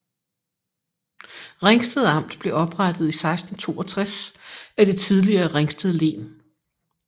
Ringsted Amt blev oprettet i 1662 af det tidligere Ringsted Len